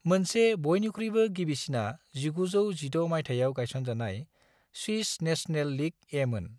मोनसे बयनिख्रुयबो गिबिसिना 1916 मायथायाव गायसनजानाय स्विस नेशनल लीग-एमोन।